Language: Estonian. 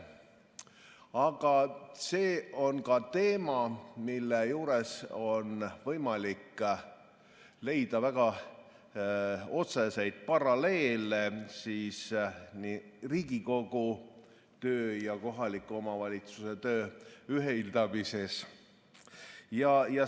Aga see on ka teema, mille juures on võimalik leida väga otseseid paralleele Riigikogu töö ja kohaliku omavalitsuse töö ühitamisega.